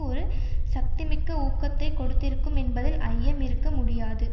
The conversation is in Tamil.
ஒரு சக்திமிக்க ஊக்கத்தை கொடுத்திருக்கும் என்பதில் ஐயம் இருக்க முடியாது